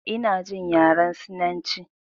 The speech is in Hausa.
Ina jin yaren sinanci